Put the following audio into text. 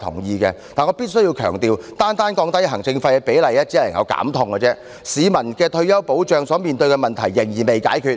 然而，我必須強調，單單降低行政費的比率只能減痛，仍未能解決市民就退休保障所面對的問題。